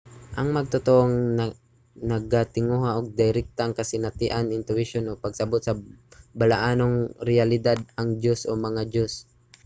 ang magtotoo nagatinguha og direktang kasinatian intuwisyon o pagsabot sa balaanong reyalidad/ang diyos o mga diyos